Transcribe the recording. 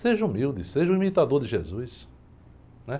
Seja humilde, seja o imitador de Jesus, né?